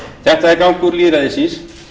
þetta er gangur lýðræðisins